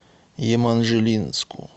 еманжелинску